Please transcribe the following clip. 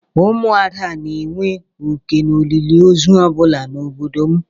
Ụmụ ada na-enwe oké n'olili ozu ọ bụla na obodo m.